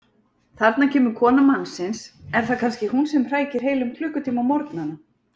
Þarna kemur kona mannsins, er það kannski hún sem hrækir heilum klukkutíma á morgnana?